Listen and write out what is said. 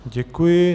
Děkuji.